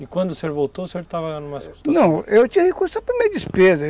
E quando o senhor voltou, o senhor estava numa situação... Não, eu tinha recurso só para minha despesa.